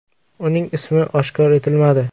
Uning ismi oshkor etilmadi.